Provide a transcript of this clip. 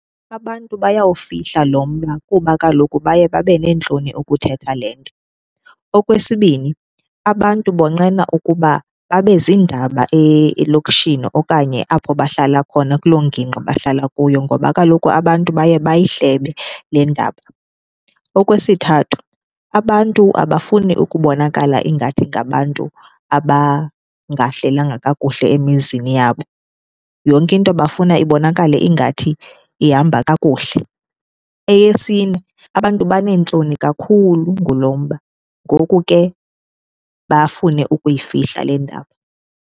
Abantu bayawufihla lo mba kuba kaloku baye babe neentloni ukuthetha le nto. Okwesibini, abantu bonqena ukuba babe ziindaba elokishini okanye apho bahlala khona kuloo ngingqi bahlala kuyo ngoba kaloku abantu baye bayihlebe le ndaba. Okwesithathu, abantu abafuni ukubonakala ingathi ngabantu abangahlelanga kakuhle emizini yabo. Yonke into bafuna ibonakale ingathi ihamba kakuhle. Eyesine, abantu baneentloni kakhulu ngulo mba ngoku ke bafune ukuyifihla le ndaba.